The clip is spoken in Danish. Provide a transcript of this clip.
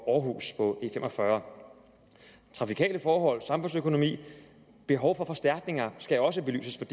århus på e45 trafikale forhold samfundsøkonomi og behov for forstærkninger skal også belyses